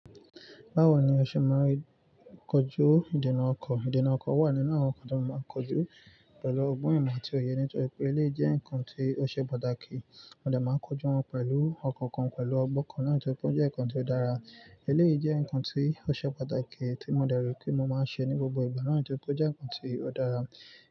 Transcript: Báwo ni o ṣe máa ń kojú ìdènà ọkọ̀? Ìdènà ọkọ̀ wà nínú àwọn nǹkan tí mo máa ń kojú pẹ̀lú ọgbọ́n ìmọ̀ àti òye nítorí pé eléyìí jẹ́ ǹkan tí ó ṣe pàtàkì. Mo dẹ̀ máa ń kojú wọn pẹ̀lú ọkàn, pẹ̀lú ọgbọ́n kan nítorí pé ó jẹ́ ǹkan tí ó dára. Eléyìí jẹ́ ǹkan tí ó ṣe pàtàkì tí mo dẹ̀ rò pé mo máa ń ṣe ní gbogbo ìgbà náà nítorí pé ó jẹ́ ǹkan tí ó dára.